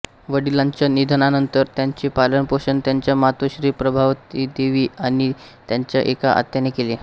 वडिलांच्या निधनानंतर त्यांचे पालनपोषण त्यांच्या मातोश्री प्रभावतीदेवी आणि त्यांच्या एका आत्याने केले